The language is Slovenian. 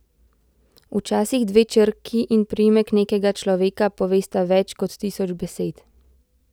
Včasih dve črki in priimek nekega človeka povesta več kot tisoč besed.